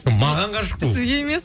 маған ғашық ол сізге емес